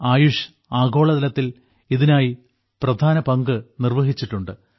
ആയുഷ് ആഗോളതലത്തിൽ ഇതിനായി പ്രധാന പങ്ക് നിർവ്വഹിച്ചിട്ടുണ്ട്